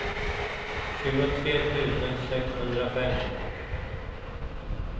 tjugotre tusen sexhundrafem